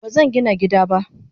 Bazangina gida ba.